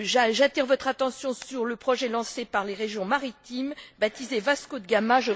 J'attire votre attention sur le projet lancé par les régions maritimes baptisé Vasco de Gama